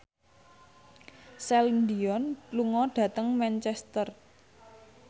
Celine Dion lunga dhateng Manchester